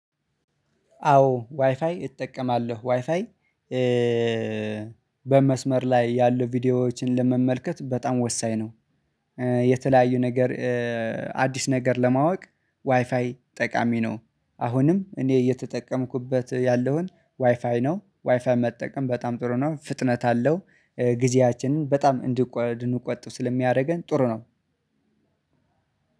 አዎ ዋይፋይ እጠቀማለሁ ዋይፋይ በመስመር ላይ ያሉ ቪዲዮዎችን ለመመልከት በጣም ወሳኝ ነው። የተለያዩ ነገር አዲስ ነገር ለማወቅ ዋይፋይ ጠቃሚ ነው። አሁንም እኔ እየተጠቀምኩበት ያለውን ዋይፋይ ነው ዋይፋይ መጠቀም በጣም ጥሩ ነው። ፍጥነት አለው ጊዜያችንን በጣም እንድንቆጥብ ስለሚያደርገን ጥሩ ነው።